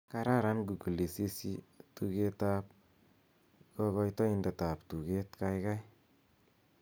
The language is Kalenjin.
kararan google isisyii tugrt ab kogoitoindet ab tuget gaigai